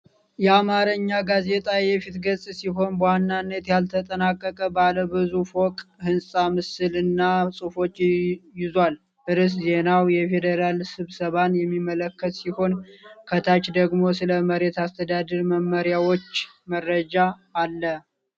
የአማርኛ ጋዜጣ የፊት ገጽ ሲሆን በዋናነት ያልተጠናቀቀ ባለ ብዙ ፎቅ ሕንፃ ምስል እና ጽሑፎችን ይዟል። ርዕሰ ዜናው የፌዴራል ስብሰባን የሚመለከት ሲሆን፣ ከታች ደግሞ ስለ መሬት አስተዳደር መመሪያዎች መረጃ አለ።